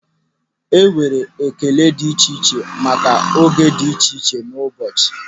Enwere ekele dị iche iche maka oge dị iche iche n'ụbọchị.